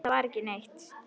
Nei, þar var ekki neitt.